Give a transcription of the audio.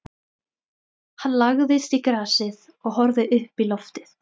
Hann lagðist í grasið og horfði uppí loftið.